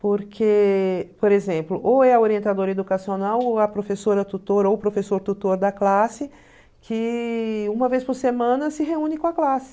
Porque, por exemplo, ou é a orientadora educacional ou a professora-tutor ou o professor-tutor da classe que uma vez por semana se reúne com a classe.